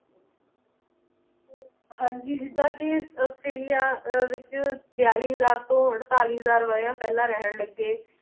ਹਾਂਜੀ ਜਿਦਾਂ ਕਿ ਔਸਟ੍ਰੇਲਿਆ ਵਿਚ ਬਿਆਲੀ ਹਜ਼ਾਰ ਤੋਂ ਅਠਤਾਲੀ ਹਜ਼ਾਰ ਵਰ੍ਹਿਆਂ ਪਹਿਲਾਂ ਰਹਿਣ ਲੱਗੇ